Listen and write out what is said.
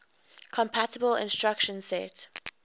compatible instruction set